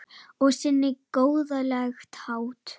Á sinn góðlega hátt.